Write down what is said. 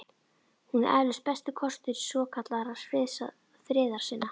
Hún er eflaust besti kostur svokallaðra friðarsinna.